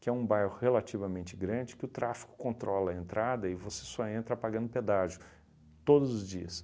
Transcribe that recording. Que é um bairro relativamente grande, que o tráfico controla a entrada e você só entra pagando pedágio todos os dias.